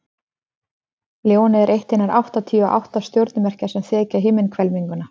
ljónið er eitt hinna áttatíu og átta stjörnumerkja sem þekja himinhvelfinguna